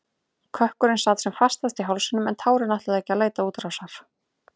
Kökkurinn sat sem fastast í hálsinum en tárin ætluðu ekki að leita útrásar.